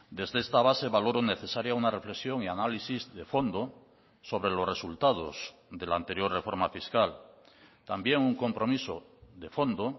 desde esta base valoro necesaria una reflexión y análisis de fondo sobre los resultados de la anterior reforma fiscal también un compromiso de fondo